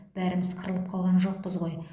бәріміз қырылып қалған жоқпыз ғой